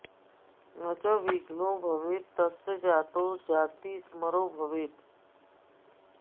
न च विघ्नो भवेत् तस्य जातो जातिस्मरो भवेत्